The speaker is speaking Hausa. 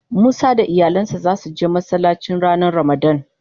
Musa da iyalin sa za su je Masallaci ranan ramadan.